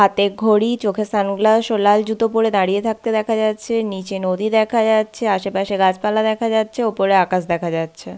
হাতে ঘড়ি চোখে সানগ্লাস ও লাল জুতো পরে দাঁড়িয়ে থাকতে দেখা যাচ্ছে। নিচে নদী দেখা যাচ্ছে। আশেপাশে গাছপালা দেখা যাচ্ছে। ওপরে আকাশ দেখা যাচ্ছে।